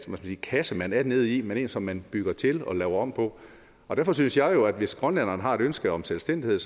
kasse man er nede i men en som man bygger til og laver om på derfor synes jeg jo at hvis grønlænderne har et ønske om selvstændighed